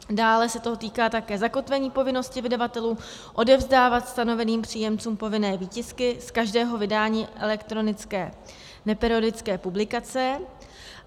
Dále se to týká také zakotvení povinnosti vydavatelů odevzdávat stanoveným příjemcům povinné výtisky z každého vydání elektronické neperiodické publikace.